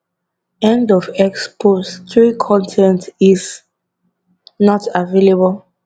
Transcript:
end of x post 3 con ten t is not available